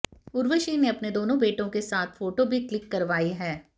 उर्वशी ने अपने दोनों बेटों के साथ फोटो भी क्लिक करवाई है